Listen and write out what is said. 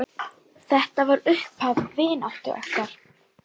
Þetta var upphaf vináttu okkar.